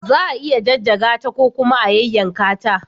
Za a iya jajjaga ta ko kuma a yayyanka ta.